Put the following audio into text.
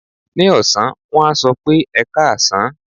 Ní ọ̀sán, wọ́n á sọ pé "ẹkáàsán".